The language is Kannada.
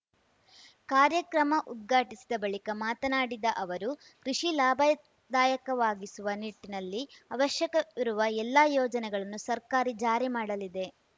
ಕಾರ‍್ಯಕ್ರಮ ಉದ್ಘಾಟಿಸಿದ ಬಳಿಕ ಮತನಾಡಿದ ಅವರು ಕೃಷಿ ಲಾಭದಾಯಕವಾಗಿಸುವ ನಿಟ್ಟಿನಲ್ಲಿ ಅವಶ್ಯಕವಿರುವ ಎಲ್ಲಾ ಯೋಜನೆಗಳನ್ನು ಸರ್ಕಾರಿ ಜಾರಿ ಮಾಡಲಿದೆ